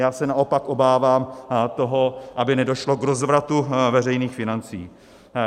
Já se naopak obávám toho, aby nedošlo k rozvratu veřejných financí.